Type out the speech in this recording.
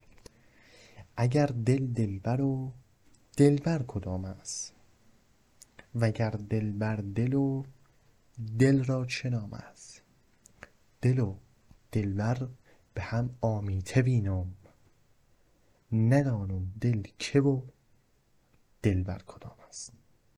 اگر دل دلبر و دلبر کدام است وگر دلبر دل و دل را چه نام است دل و دلبر به هم آمیته وینم ندونم دل که و دلبر کدام است